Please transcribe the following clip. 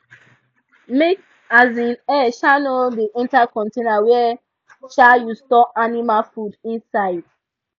make um air um no da enter container wey um you store animal food inside